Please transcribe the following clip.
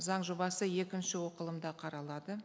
заң жобасы екінші оқылымда қаралады